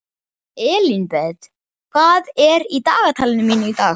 Elínbet, hvað er í dagatalinu mínu í dag?